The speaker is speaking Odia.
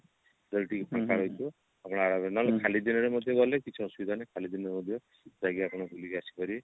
ଆପଣ ଖାଲି ଦିନରେ ମଧ୍ୟ ଗଲେ କିଛି ଅସୁବିଧା ନାହିଁ ଖାଲି ଦିନରେ ମଧ୍ୟ ଯାଇକି ଆପଣ ବୁଲିକି ଆସିପାରିବେ